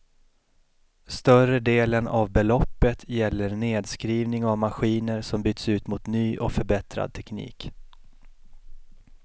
Större delen av beloppet gäller nedskrivning av maskiner som byts ut mot ny och förbättrad teknik.